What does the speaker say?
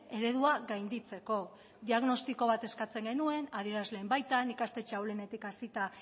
eredua gainditzeko diagnostiko bat eskatzen genuen adierazleen baitan ikastetxe ahulenetik hasita